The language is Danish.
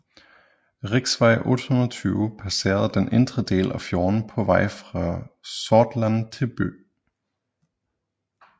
Riksvei 820 passerer den indre del af fjorden på vej fra Sortland til Bø